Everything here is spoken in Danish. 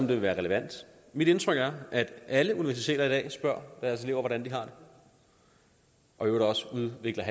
vil være relevant mit indtryk er at alle universiteter i dag spørger deres elever hvordan de har det og udvikler